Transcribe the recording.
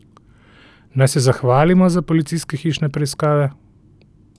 Naj se zahvalimo za policijske hišne preiskave?